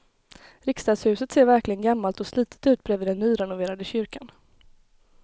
Riksdagshuset ser verkligen gammalt och slitet ut bredvid den nyrenoverade kyrkan.